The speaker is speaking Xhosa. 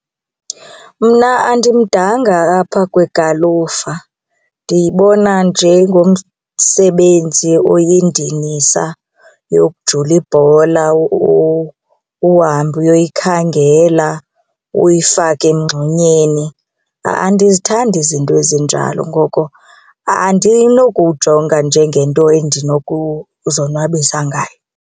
Mna andimdanga apha kwigalufa ndiyibona njengomsebenzi oyindinisa yokujula ibhola uhambe uyoyikhangela uyifake emngxunyeni. Andizithandi izinto ezinjalo, ngoko andinokuwujonga njengento endinokuzonwabisa ngayo.